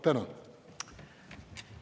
Tänan!